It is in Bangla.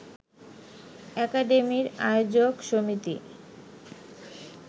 একাডেমির আয়োজক সমিতি